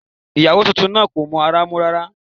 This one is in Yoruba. Ìyàwó tuntun náà ò mọ ara mú rárá